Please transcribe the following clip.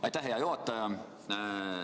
Aitäh, hea juhataja!